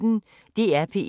DR P1